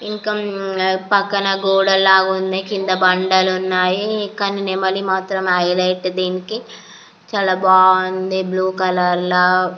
ఇంకా పక్కన గోడలా ఉన్నాయి. కింద బండలు ఉన్నాయి. కానీ నెమలి మాత్రం హైలైట్ దీనికి చాలా బాగుంది బ్లూ కలర్ ల --